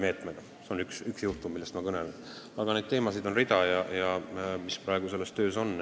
See on üks teema, aga teemasid, mis praegu töös on, on terve rida.